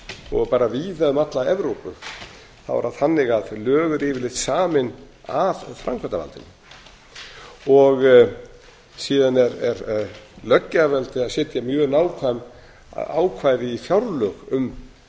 og bara víða um alla evrópu er það þannig að lög eru yfirleitt samin af framkvæmdarvaldinu síðan er löggjafarvaldið að setja mjög nákvæm ákvæði í fjárlög um